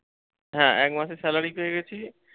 হ্যাঁ, এক মাসের salary পেয়ে গেছি।